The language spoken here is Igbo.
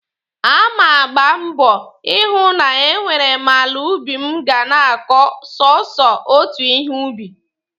A ma agba mbọ ịhụ na e nwere m ala ubi m ga na-akọ sọsọ otu ihe ubi.